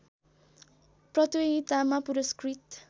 प्रतियोगितामा पुरस्कृत